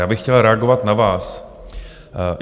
Já bych chtěl reagovat na vás.